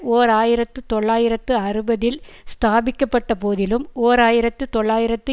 ஓர் ஆயிரத்து தொள்ளாயிரத்து அறுபதில் ஸ்தாபிக்க பட்ட போதிலும் ஓர் ஆயிரத்து தொள்ளாயிரத்து